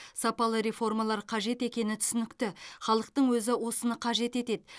сапалы реформалар қажет екені түсінікті халықтың өзі осыны қажет етеді